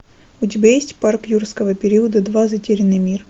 у тебя есть парк юрского периода два затерянный мир